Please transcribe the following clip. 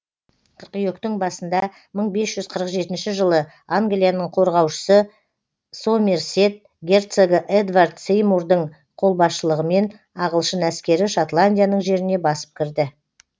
қыркүйектің басында мың бес жүз қырық жетінші жылы англияның қорғаушысы сомерсет герцогы эдвард сеймурдың қолбасшылығымен ағылшын әскері шотландияның жеріне басып кірді